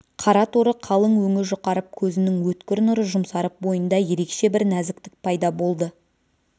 қара торы қалың өңі жұқарып көзінің өткір нұры жұмсарып бойында ерекше бір нәзіктік пайда болды